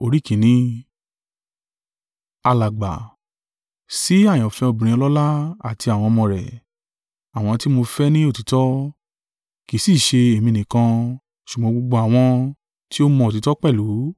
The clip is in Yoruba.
Alàgbà, Sì àyànfẹ́ obìnrin ọlọ́lá àti àwọn ọmọ rẹ̀, àwọn tí mo fẹ́ ní òtítọ́, kì í sì í ṣe èmi nìkan, ṣùgbọ́n gbogbo àwọn tí ó mọ òtítọ́ pẹ̀lú;